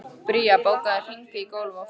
Bría, bókaðu hring í golf á föstudaginn.